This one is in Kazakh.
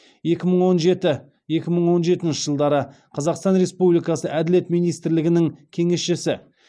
екі мың он жеті екі мың он жетінші жылдары қазақстан республикасы әділет министрінің кеңесшісі